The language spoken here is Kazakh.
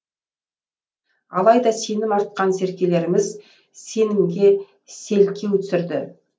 алайда сенім артқан серкелеріміз сенімге селкеу түсірді